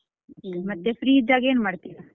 ಮತ್ತೆ free ಇದ್ದಾಗ ಏನ್ ಮಾಡ್ತಿರಾ?